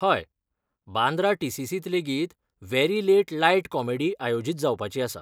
हय, बांद्रा टी.सी.सी. त लेगीत 'वॅरी लेट लायट कॉमेडी' आयोजीत जावपाची आसा.